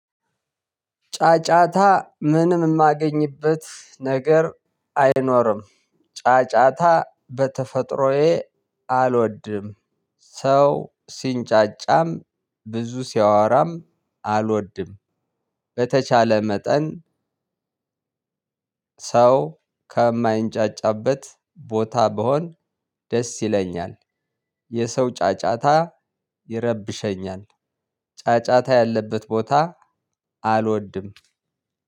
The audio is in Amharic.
ጫጫታ ምንም የማገኝበት ነገር አይኖርም። ጫጫታ በተፈጥሮዬ አልወድም። ሰው ሲንጫጫም ብዙ ሲያወራም አልወድም። በተቻለ መጠን ሰው ከማይንጫጫበት ቦታ ብሆን ደስ ይለኛል። የሰው ጫጫታ ይረብሸኛል። ጫጫታ ያለበት ቦታ አልወድም።